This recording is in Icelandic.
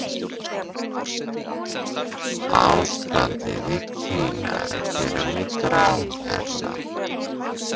ástandið í kína er að gera mig gráhærða